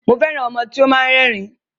Mo fẹ́ràn ọmọ tí ó máa ń rẹ́rìn-ín.